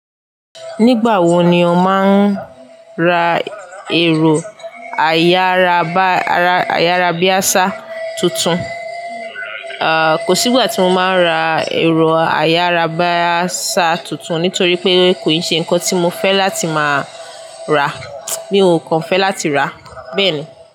Nígbà wo ni o máa ra ẹ̀rọ ayárabíásà tuntun? Kò sí ìgbà tí mo máa ra ẹ̀rọ ayárabíásà tuntun nítorí pé kò ṣe nǹkan tí mo fẹ́ láti máa ra, mi o kan fẹ́ láti rà. Bẹ́ẹ̀ ni.